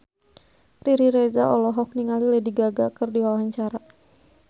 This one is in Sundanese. Riri Reza olohok ningali Lady Gaga keur diwawancara